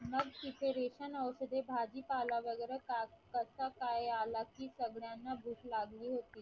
मग तिथे ration औषधे भाजीपाला वैगरे कस काय आला की सगळ्यांना भूक लागली होती.